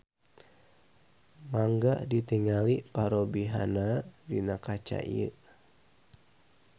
Mangga tingali parobihanna dina kaca ieu.